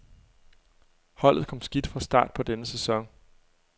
Holdet kom skidt fra start på denne sæson.